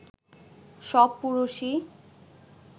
সব পুরুষই